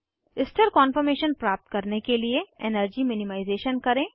स्थिर कान्फॉर्मेशन प्राप्त करने के लिए एनर्जी मिनिमाइज़ेशन करें